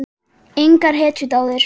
Engar hetjudáðir?